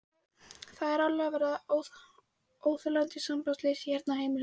Það er að verða alveg óþolandi sambandsleysi hérna á heimilinu!